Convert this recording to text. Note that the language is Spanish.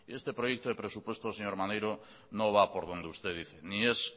este proyecto de presupuestos señor maneiro no va por donde usted dice ni es